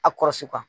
A kɔrɔsi kan